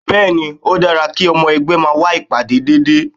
Bẹ́ẹ̀ ni, ó dára kí ọmọ ẹgbẹ́ máa wá ìpàdé déédéé